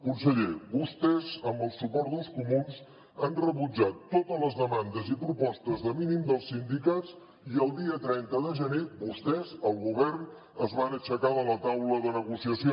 conseller vostès amb el suport dels comuns han rebutjat totes les demandes i propostes de mínims dels sindicats i el dia trenta de gener vostès el govern es van aixecar de la taula de negociació